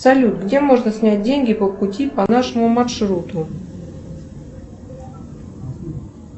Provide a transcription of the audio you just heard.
салют где можно снять деньги по пути по нашему маршруту